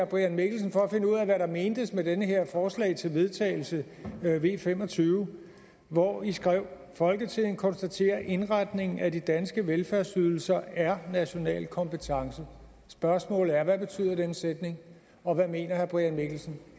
brian mikkelsen for at finde ud af hvad der mentes med det her forslag til vedtagelse v fem og tyve hvor i skrev folketinget konstaterer at indretningen af de danske velfærdsydelser er national kompetence spørgsmålet er hvad betyder den sætning og hvad mener herre brian mikkelsen